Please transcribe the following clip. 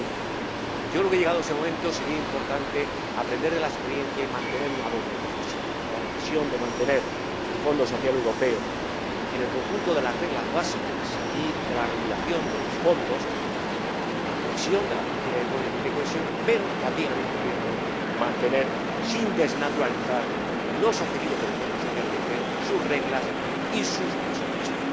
2020. Yo creo que, llegado ese momento, sería importante aprender de la experiencia y mantener una doble decisión la decisión de mantener el Fondo Social Europeo en el conjunto de las reglas básicas y de la regulación de los fondos y de la política de cohesión, pero también, al mismo tiempo, la decisión de mantener, sin desnaturalizarlos, los objetivos del Fondo Social Europeo, sus reglas y sus presupuestos.